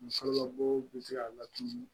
Musolamɔgɔw bi se ka laturu